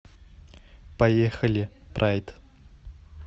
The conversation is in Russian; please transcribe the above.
поехали прайд